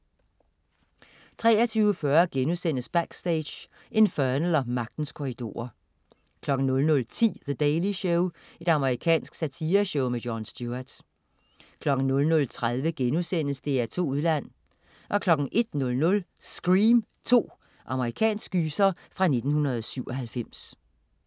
23.40 Backstage: Infernal & Magtens Korridorer* 00.10 The Daily Show. Amerikansk satireshow. Jon Stewart 00.30 DR2 Udland* 01.00 Scream 2. Amerikansk gyser fra 1997